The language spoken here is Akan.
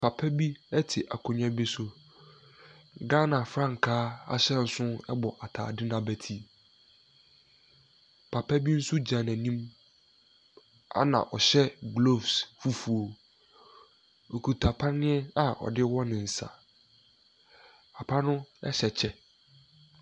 Papa bi te akonnwa bi so. Ghana frankaa bɔ ataade no abeti. Papa bi nso gyna n'anim na ɔhyɛ gloves fufuo. Okita paneɛ a ɔde wɔ ne nsa. Papa o hyɛ kyɛ.